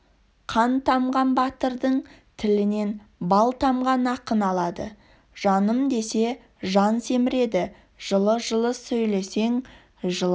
қан тамған батырды тілінен бал тамған ақын алады жаным десе жан семіреді жылы-жылы сөйлесең жылан